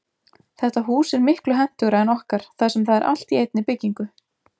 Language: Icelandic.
Þetta hús er miklu hentugra en okkar þar sem það er allt í einni byggingu.